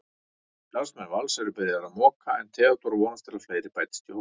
Starfsmenn Vals eru byrjaðir að moka en Theódór vonast að fleiri bætist í hópinn.